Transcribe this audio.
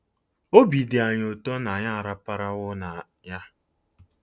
Obi dị anyị ụtọ na anyị araparawo na ya!